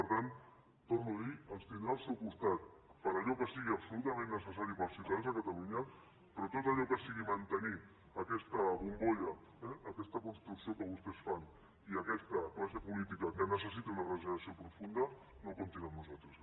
per tant ho torno a dir ens tindrà al seu costat per a allò que sigui absolutament necessari per als ciutadans de catalunya però tot allò que sigui mantenir aquesta bombolla aquesta construcció que vostès fan i aquesta classe política que necessita una regeneració profunda no comptin amb nosaltres